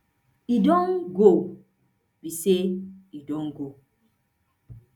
e don go be say e don go